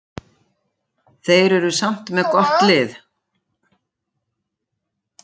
Þeir eru samt með gott lið.